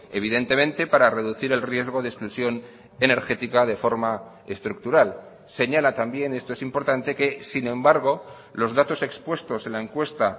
evidentemente para reducir el riesgo de exclusión energética de forma estructural señala también esto es importante que sin embargo los datos expuestos en la encuesta